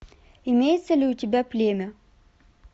имеется ли у тебя племя